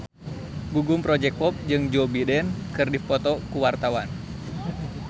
Gugum Project Pop jeung Joe Biden keur dipoto ku wartawan